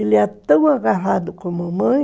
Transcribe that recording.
Ele é tão agarrado com a mamãe